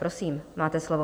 Prosím, máte slovo.